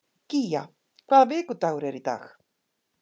Gía, hvaða vikudagur er í dag?